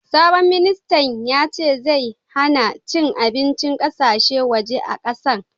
Sabon ministan yace zai hanna cin abincin ƙasashen waje a kasan.